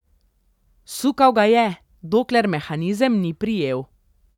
Sukal ga je, dokler mehanizem ni prijel.